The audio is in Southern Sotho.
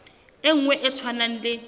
e nngwe e tshwanang le